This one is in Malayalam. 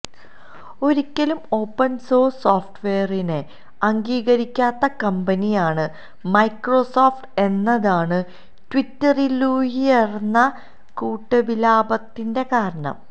ഒരിക്കലും ഓപ്പണ് സോഴ്സ് സോഫ്റ്റ്വെയറിനെ അംഗീകരിക്കാത്ത കമ്പനിയാണ് മൈക്രോസോഫ്റ്റ് എന്നതാണ് ട്വിറ്ററിലുയര്ന്ന കൂട്ടവിലാപത്തിന്റെ കാരണം